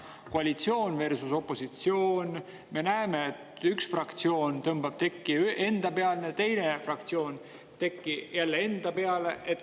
Koalitsioon versus opositsioon – me näeme, et üks fraktsioon tõmbab tekki enda peale, teine fraktsioon tekki jälle enda peale.